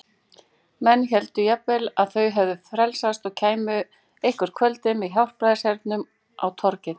Menn héldu jafnvel að þau hefðu frelsast og kæmu eitthvert kvöldið með hjálpræðishernum á torgið.